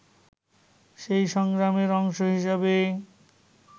সেই সংগ্রামের অংশ হিসেবে